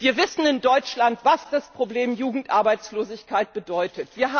Wir wissen in Deutschland, was das Problem Jugendarbeitslosigkeit bedeutet.